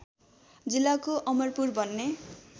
जिल्लाको अमरपुर भन्ने